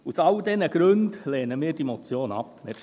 Aus diesen Gründen lehnen wir die Motion ab.